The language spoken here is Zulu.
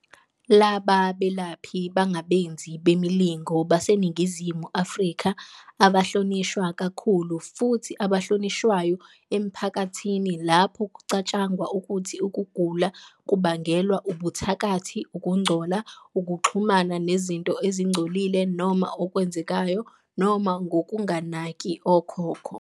Laba belaphi bangabenzi bemilingo baseNingizimu Afrika abahlonishwa kakhulu futhi abahlonishwayo emphakathini lapho kucatshangwa ukuthi ukugula kubangelwa ubuthakathi, ukungcola, ukuxhumana nezinto ezingcolile noma okwenzekayo, noma ngokunganaki okhokho.